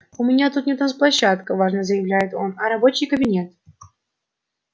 у меня тут не танцплощадка важно заявляет он а рабочий кабинет